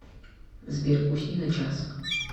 сбер усни на час